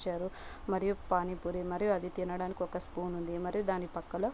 మరియు పానీ పూరి మరియు అది తినడానికి ఒక స్పూన్ ఉంది మరి దాని పక్కలో --